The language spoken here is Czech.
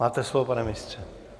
Máte slovo, pane ministře.